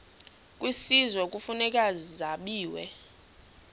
kwisizwe kufuneka zabiwe